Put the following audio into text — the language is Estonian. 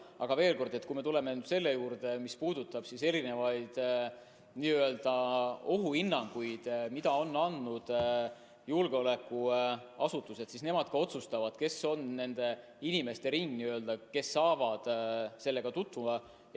Aga veel kord, kui me tuleme selle juurde, mis puudutab erinevaid ohuhinnanguid, mida on andnud julgeolekuasutused, siis nemad otsustavad, kes on nende inimeste ringis, kes saavad nendega tutvuda.